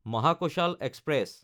Mahakoshal express